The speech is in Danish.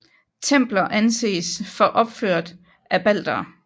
Templer anses for opført af baltere